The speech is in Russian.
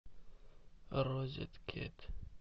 розеткед